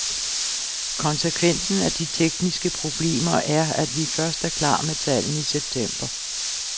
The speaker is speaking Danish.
Konsekvensen af de tekniske problemer er, at vi først er klar med tallene i september.